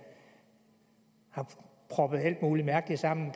har proppet alt muligt mærkeligt sammen